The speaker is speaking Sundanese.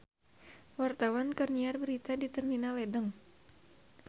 Wartawan keur nyiar berita di Terminal Ledeng